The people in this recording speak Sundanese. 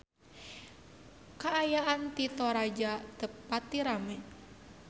Kaayaan di Toraja teu pati rame